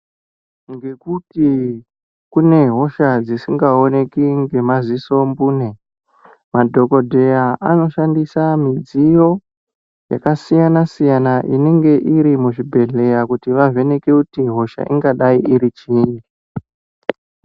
Ngekuti kune hosha dzisingaoneki ngemaziso mbune, madhokodheya anoshandisa midziyo yakasiyana siyana inenge iri muzvibhedhleya kuti vavheneke kuti hosha ingadai iri chii.